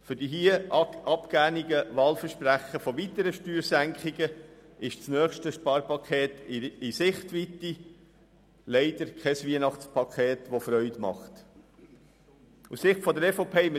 Für die hier abgegebenen Wahlversprechen für weitere Steuersenkungen ist das nächste Sparpaket in Sichtweite, was leider kein erfreuliches Weihnachtspaket ist.